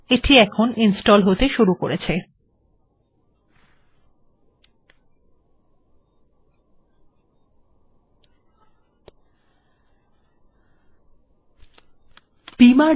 ঠিকআছে এটি ইনস্টল্ হতে শুরু হয়েছে